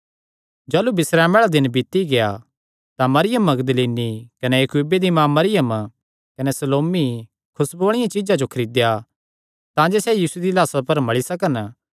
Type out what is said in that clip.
जाह़लू बिस्रामे आल़ा दिन बीती गेआ तां मरियम मगदलीनी कने याकूबे दी माँ मरियम कने सलोमी खुसबुआं आल़िआं चीज्जां जो खरीदेया तांजे सैह़ यीशु दिया लाह्सा पर मल़ी सकन